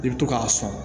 I bi to k'a sɔn